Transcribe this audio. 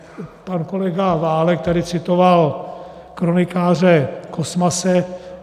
Pan kolega Válek tady citoval kronikáře Kosmase.